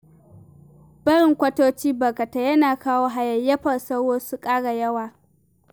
Barin kwatoci barkatai yana kawo hayayyafar sauro su ƙara yawa